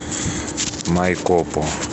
майкопу